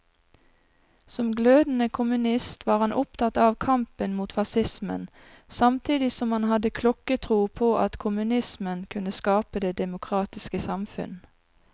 Som glødende kommunist var han opptatt av kampen mot facismen, samtidig som han hadde klokketro på at kommunismen kunne skape det demokratiske samfunn.